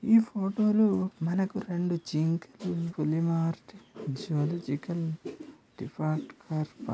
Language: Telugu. ఈ ఫోటో లో మనకు రెండు జింకలు ఒక పులి మార్ట్--